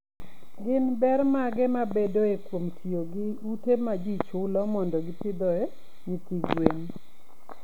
Gin ber mage mabedoe kuom tiyo gi ute ma ji chulo mondo gipidhoe nyithi gwen?